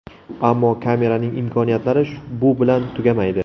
Ammo kameraning imkoniyatlari bu bilan tugamaydi.